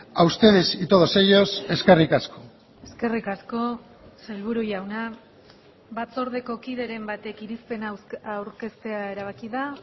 a ustedes y todos ellos eskerrik asko eskerrik asko sailburu jauna batzordeko kideren batek irizpena aurkeztea erabaki da